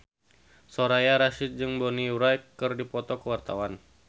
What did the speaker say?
Soraya Rasyid jeung Bonnie Wright keur dipoto ku wartawan